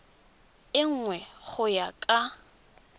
e nngwe go ya ka